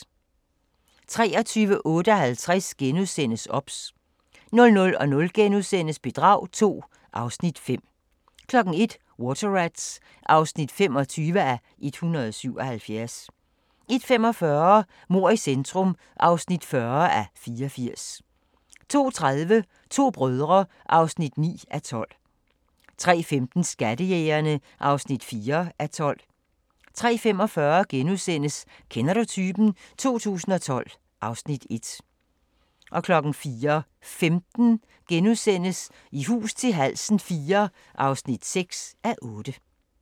23:58: OBS * 00:00: Bedrag II (Afs. 5)* 01:00: Water Rats (25:177) 01:45: Mord i centrum (40:84) 02:30: To brødre (9:12) 03:15: Skattejægerne (4:12) 03:45: Kender du typen? 2012 (Afs. 1)* 04:15: I hus til halsen IV (6:8)*